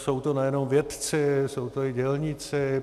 Jsou to nejenom vědci, jsou to i dělníci.